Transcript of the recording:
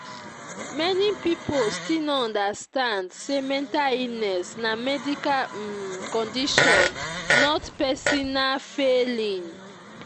many people still no understand say mental illness na medical um condition not pesinal failing.